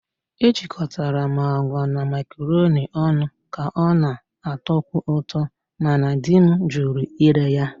Ejikọtara m agwa na macaroni ọnụ ka ọ na-atọkwu ụtọ, ma di m jụrụ ire ya.